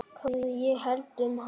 Hvað ég hélt um hann?